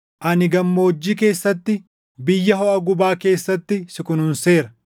Ani gammoojjii keessatti, biyya hoʼa gubaa keessatti si kunuunseera.